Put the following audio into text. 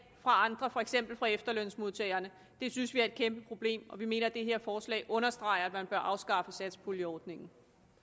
fra andre for eksempel fra efterlønsmodtagerne det synes vi er et kæmpe problem og vi mener det her forslag understreger at man bør afskaffe satspuljeordningen